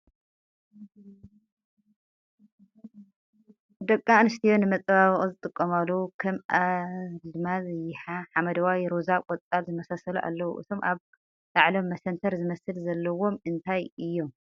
ደቂ ኣንስትዮ ንመፀባበቂ ዝጥቀማሉ ከም ኣዝማል ይሕ፣ ሓመደዋይ፣ ሮዛ፣ ቆፃል ዝመሳሰሉ ኣለዉ ። እቶም ኣብ ላዕሎም መሰንተር ዝመስል ዘለዎም እንታይ እዮም ?